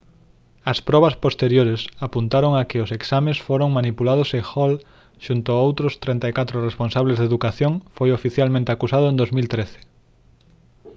as probas posteriores apuntaron a que os exames foran manipulados e hall xunto con outros 34 responsables de educación foi oficialmente acusado en 2013